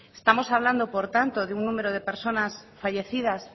estamos hablando por tanto de un número de personas fallecidas